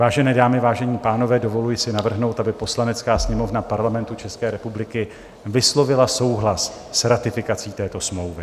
Vážené dámy, vážení pánové, dovoluji si navrhnout, aby Poslanecká sněmovna Parlamentu České republiky vyslovila souhlas s ratifikací této smlouvy.